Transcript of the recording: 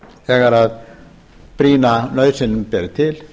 þegar brýna nauðsyn ber til